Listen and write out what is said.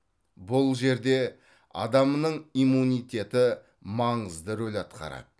бұл жерде адамның иммунитеті маңызды рөл атқарады